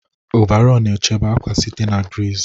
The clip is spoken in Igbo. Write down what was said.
Ọvarọọr na-echebe akwa site na griiz.